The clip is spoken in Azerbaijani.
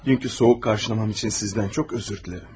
Dünənki soyuq qarşılamam üçün sizdən çox üzr istəyirəm.